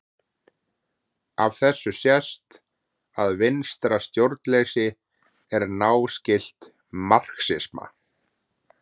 Af þessu sést að vinstra stjórnleysi er náskylt marxisma.